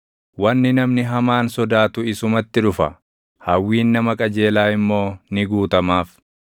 Wanni namni hamaan sodaatu isumatti dhufa; hawwiin nama qajeelaa immoo ni guutamaaf.